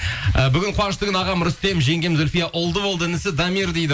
і бүгін қуанышты күн ағам рүстем жеңгем зульфия ұлды болды інісі дамир дейді